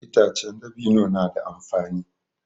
Itace dabino na da amfani.